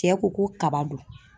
Cɛ ko ko kaba don